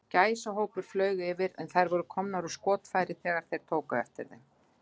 Gæsahópur flaug yfir, en þær voru komnar úr skotfæri, þegar þeir tóku eftir þeim.